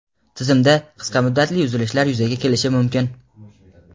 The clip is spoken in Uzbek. tizimda qisqa muddatli uzilishlar yuzaga kelishi mumkin.